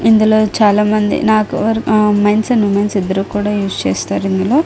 ఇందులో చాలామంది నాకు ఆ మెన్స్ అండ్ వొమెన్స్ ఇద్దరు కూడా యూస్ చేస్తారు ఇందులో.